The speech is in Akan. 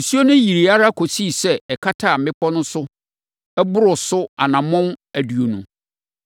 Nsuo no yirii ara kɔsii sɛ ɛkataa mmepɔ no so boroo so anammɔn aduonu.